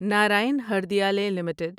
Narayan Hridayalaya limited